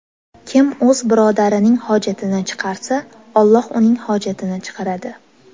Kim o‘z birodarining hojatini chiqarsa, Alloh uning hojatini chiqaradi.